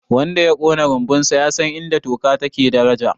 wanda ya Kona rumbunsa ya san inda taka take daraja